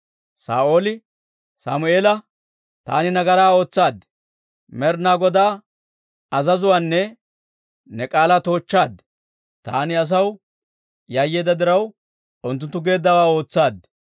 Saa'ooli Sammeela, «Taani nagaraa ootsaad; Med'inaa Godaa azazuwaanne ne k'aalaa toochchaad. Taani asaw yayyeedda diraw, unttunttu geeddawaa ootsaad.